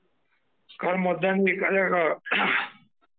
कारण मतदान हे...